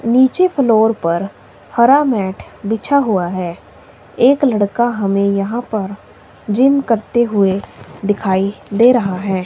नीचे फ्लोर पर हरा मैट बिछा हुआ है एक लड़का हमें यहां पर जिम करते हुए दिखाई दे रहा है।